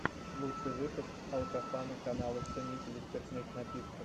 лучший выпуск алкофана канала ценителей спиртных напитков